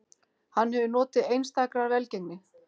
Hann hefur notið einstakrar velgengni